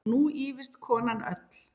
Og nú ýfist konan öll.